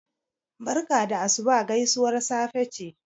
barka da asuba gaisuwar safe ce